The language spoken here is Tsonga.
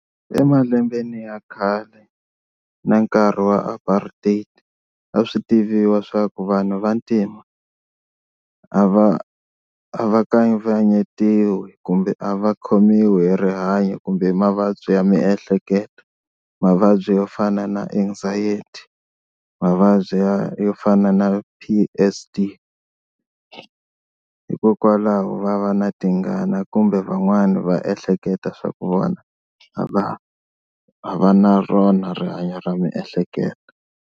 Emalembeni ya khale na nkarhi wa apartheid a swi tiviwa swa ku vanhu vantima a va a va kavanyetiwi kumbe a va khomiwi hi rihanyo kumbe hi mavabyi ya miehleketo mavabyi yo fana na anxiety mavabyi ya yo fana na P_S_D, hikokwalaho va va na tingana kumbe van'wani va ehleketa swa ku vona a va a va na rona rihanyo ra miehleketo.